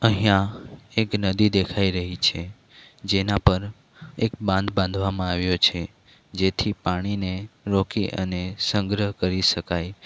અહીંયા એક નદી દેખાઈ રહી છે જેના પર એક બાંધ બાંધવામાં આવ્યો છે જેથી પાણીને રોકી અને સંગ્રહ કરી શકાય.